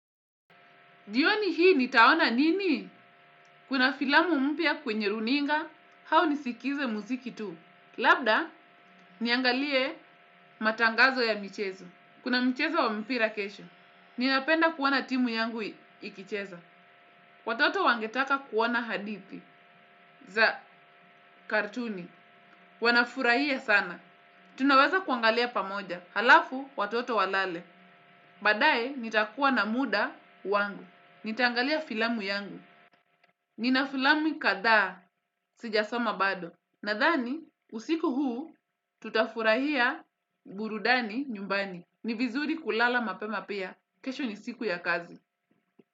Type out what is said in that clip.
Jioni hii nitaona nini? Kuna filamu mpya kwenye runinga, au nisikize muziki tu. Labda, niangalie matangazo ya michezo. Kuna mchezo wa mpira kesho. Ninapenda kuona timu yangu ikicheza. Watoto wangetaka kuona hadithi za kartuni. Wanafurahia sana. Tunaweza kuangalia pamoja. Alafu, watoto walale. Baadaye, nitakuwa na muda wangu. Nitaangalia filamu yangu. Nina filamu kadhaa sijasoma bado nadhani usiku huu tutafurahia burudani nyumbani. Ni vizuri kulala mapema pia kesho ni siku ya kazi.